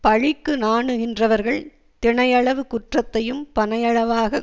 பழிக்கு நாணுகின்றவர்கள் தினையளவு குற்றத்தையும் பனையளவாக